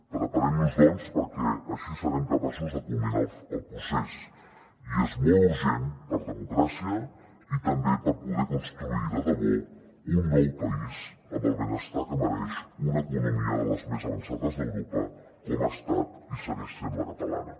preparem nos doncs perquè així serem capaços de culminar el procés i és molt urgent per democràcia i també per poder construir de debò un nou país amb el benestar que mereix una economia de les més avançades d’europa com ha estat i segueix sent la catalana